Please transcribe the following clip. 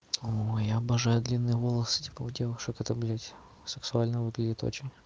ой обожаю длинные волосы типа у девушек это блядь сексуально выглядит очень